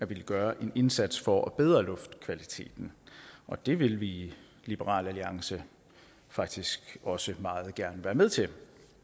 vil gøre en indsats for at bedre luftkvaliteten og det vil vi i liberal alliance faktisk også meget gerne være med til